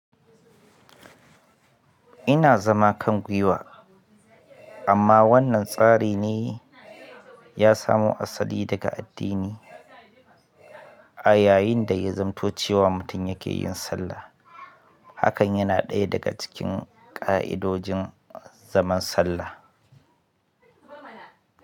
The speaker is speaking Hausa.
Ina zama kan gwiwa, amma wannan tsari ne ya samo asali daga addini a yayin da ya zamto cewa mutum yake yin sallah. Hakan yana ɗaya daga cikin ƙa'idojin zaman sallah.